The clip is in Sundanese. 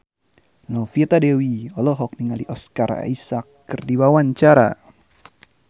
Novita Dewi olohok ningali Oscar Isaac keur diwawancara